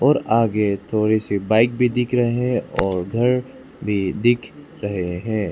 आगे थोड़ी सी बाइक भी दिख रहे हैं और घर भी दिख रहे हैं।